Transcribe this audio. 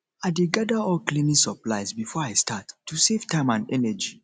i dey gather all cleaning supplies before i start to save time and energy